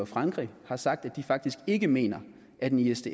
frankrig har sagt at de faktisk ikke mener at en isds